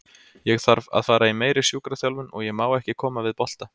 Ég þarf að fara í meiri sjúkraþjálfun og ég má ekki koma við bolta.